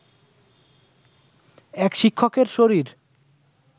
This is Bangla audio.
এক শিক্ষকের শরীর